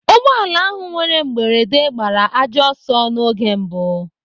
Ụgbọala ahụ nwere mberede gbara ajọ ọsọ n'oge mbụ.